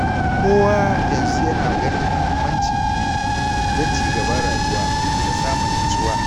Kowa yanzu yana ganin muhimmancin ilimi don cigaban rayuwa da samun natsuwa.